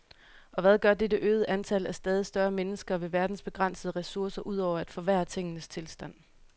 Og hvad gør dette øgede antal af stadig større mennesker ved verdens begrænsede ressourcer ud over at forværre tingenes tilstand.